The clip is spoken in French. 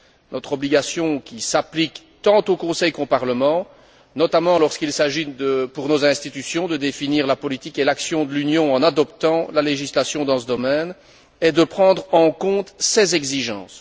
Notre obligation qui s'applique tant au Conseil qu'au Parlement, notamment lorsqu'il s'agit pour nos institutions de définir la politique et l'action de l'Union en adoptant la législation dans ce domaine est de prendre en compte ces exigences.